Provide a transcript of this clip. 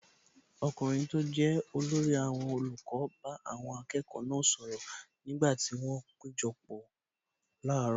Ọkùnrin tó jẹ́ olórí àwọn olùkọ́ bá àwọn akẹ́kọ̀ọ́ náà sọ̀rọ̀ nígbà tí wọn péjọpọ̀ láàárọ̀.